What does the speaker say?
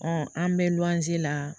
an bɛ luwanze la